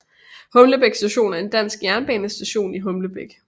Humlebæk Station er en dansk jernbanestation i Humlebæk